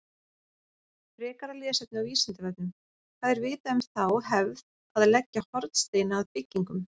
Frekara lesefni á Vísindavefnum: Hvað er vitað um þá hefð að leggja hornsteina að byggingum?